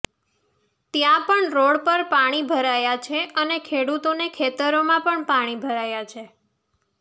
ત્યાં પણ રોડ પર પાણી ભરાયા છે અને ખેડૂતોના ખેતરોમાં પણ પાણી ભરાયા છે